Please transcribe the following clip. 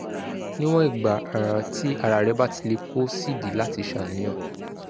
níwọ̀n ìgbà um tí ara rẹ bá ti le kò sídìí láti ṣàníyàn